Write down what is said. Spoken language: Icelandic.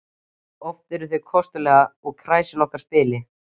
Oft eru þau kostuleg og kræsin okkar spil